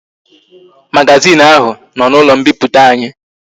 Magazin ahu no na ulo mpiputa anyi